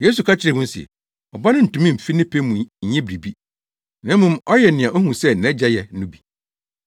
Yesu ka kyerɛɛ wɔn se, “Ɔba no ntumi mfi ne pɛ mu nyɛ biribi, na mmom ɔyɛ nea ohu sɛ nʼAgya yɛ no bi.